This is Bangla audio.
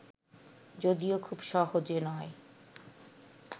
যদিও খুব সহজে নয়